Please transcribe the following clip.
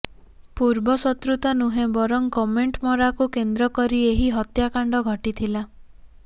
ପୂର୍ବ ଶତ୍ରୁତା ନୁହେଁ ବରଂ କମେଣ୍ଟମରାକୁ କେନ୍ଦ୍ର କରି ଏହି ହତ୍ୟାକାଣ୍ଡ ଘଟିଥିଲା